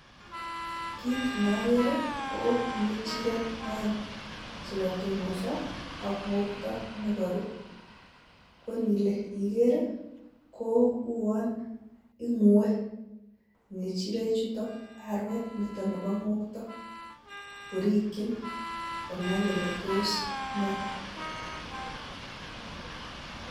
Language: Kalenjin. kit neokeree ko ngechirek oeng chekotonosoo ak ngoktoo ak koruu, ak indilee igeer i,kou on tinyee guek ngechirek chuton, Arwet nebo ngoktoo korikyiin konai kole tos nee